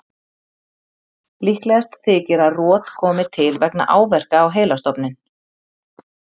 Líklegast þykir að rot komi til vegna áverka á heilastofninn.